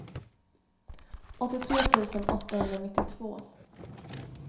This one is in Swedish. åttiotre tusen åttahundranittiotvå